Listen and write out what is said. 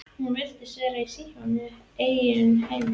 Hún virtist vera í sínum eigin heimi.